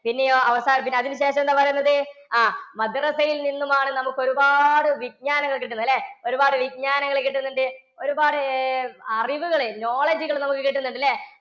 പിന്നെയോ അവസാന~ അതിനുശേഷം എന്താ പറയുന്നത്? അഹ് മദ്രസ്സയില്‍ നിന്നുമാണ് നമുക്കൊരുപാട് വിജ്ഞാനങ്ങള്‍ കിട്ടുന്നത് ല്ലേ? ഒരുപാട് വിജ്ഞാനങ്ങള്‍ കിട്ടുന്നുണ്ട്‌. ഒരുപാട്~ അറിവുകള് knowledge കള് നമുക്ക് കിട്ടുന്നുണ്ട്‌ല്ലേ?